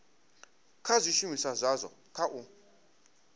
kha zwishumiswa zwazwo kha u